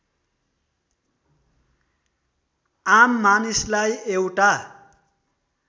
आम मानिसलाई एउटा